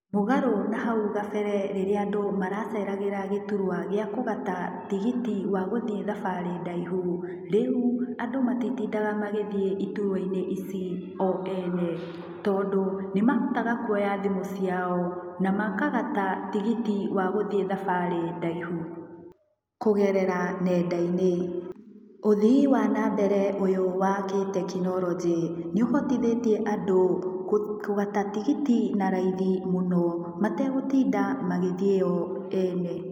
Mũgarũ na hau gabera rĩrĩa andũ maraceragĩra gĩturwa gĩa kũgata tigiti wa gũthiĩ thabarĩ ndaihu. Rĩu andũ matitindaga magĩthiĩ iturwa-inĩ ici o ene. Tondũ, nĩ mahotaga kũoya thimũ ciao, na makagata tigiti wa gũthiĩ thabari ndaihu, kũgerera nenda-inĩ. Ũthii wa na mbere ũyũ wa kĩtekinoronjĩ, nĩ ũhotithĩtie andũ kũgata tigiti na raithi mũno, mategũtinda magĩthiĩ o ene.